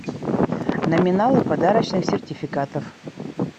номиналы подарочных сертификатов